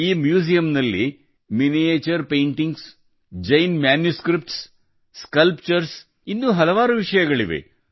ಈ ಮ್ಯೂಸಿಯಂನಲ್ಲಿ miniature paintings Jain manuscripts sculpture sculpture ಇನ್ನೂ ಹಲವು ವಿಷಯಗಳಿವೆ